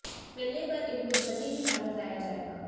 मिलने पर इनको जल्दी ही भारत लाया जाएगा